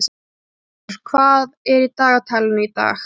Brynjúlfur, hvað er í dagatalinu í dag?